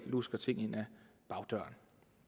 lusket ting ind ad bagdøren